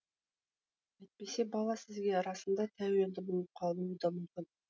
әйтпесе бала сізге расында тәуелді болып қалуы да мүмкін